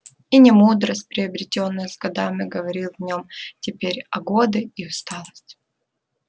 и не мудрость приобретённая с годами говорила в нём теперь а годы и усталость